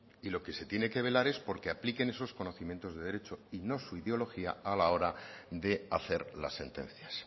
y lo que se tiene que velar es porque apliquen esos conocimientos de derecho y no su ideología a la hora de hacer las sentencias